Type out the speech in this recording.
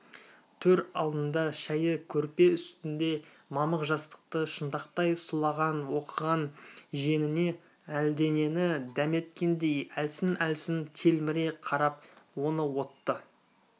төр алдында шәйі көрпе үстінде мамық жастықты шынтақтай сұлаған оқыған жиеніне әлденені дәметкендей әлсін-әлсін телміре қарап оны отты